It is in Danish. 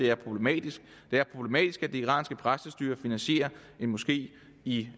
er problematisk det er problematisk at det iranske præstestyre finansierer en moské i